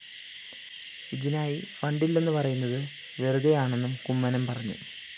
ഇതിനായി ഫണ്ടില്ലെന്നു പറയുന്നത് വെറുതെയാണെന്നും കുമ്മനം പറഞ്ഞു